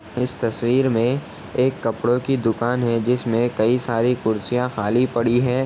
इस तस्वीर में एक कपड़ो की दुकान है जिसमे कई सारी कुर्सियां खाली पड़ी हैं|